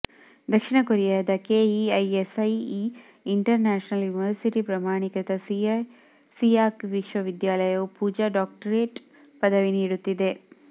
ದಕ್ಷಿಣ ಕೊರಿಯಾದ KEISIE international university ಪ್ರಮಾಣೀಕೃತ ಸಿಯಾಕ್ ವಿವಿಯು ಪೂಜಾಗೆ ಡಾಕ್ಟರೇಟ್ ಪದವಿ ನೀಡುತ್ತಿದೆ